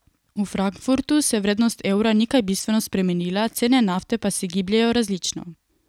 V Frankfurtu se vrednost evra ni kaj bistveno spremenila, cene nafte pa se gibljejo različno.